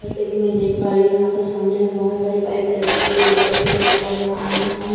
जैसा कि मैं देख पा रही हूं यहां पर सामने में बहुत सारी बाइक लगी हुई है जैसे कि मैं देख पा रही हूं यहां आमने सामने।